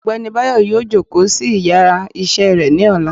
ọgbẹni bayo yóò jòkó sí íyarà iṣẹ re ni òlá